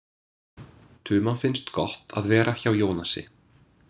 Tuma finnst gott að vera hjá Jónasi.